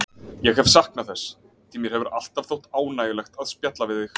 Ég hef saknað þess, því mér hefur alltaf þótt ánægjulegt að spjalla við þig.